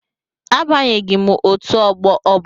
Abanyeghi m otu ọgbọ ọbụla.